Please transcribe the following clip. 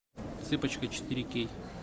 цыпочка четыре кей